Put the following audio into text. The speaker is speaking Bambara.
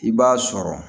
I b'a sɔrɔ